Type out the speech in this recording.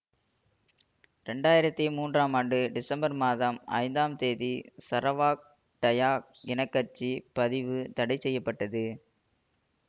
இரண்டாயிரத்தி மூன்றாம் ஆண்டு டிசம்பர் மாதம் ஐந்தாம் தேதி சரவாக் டயாக் இன கட்சி பதிவு தடை செய்ய பட்டது